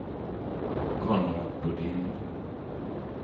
Konrad Bodin